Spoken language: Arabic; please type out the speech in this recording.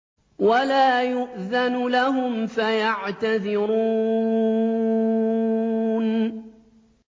وَلَا يُؤْذَنُ لَهُمْ فَيَعْتَذِرُونَ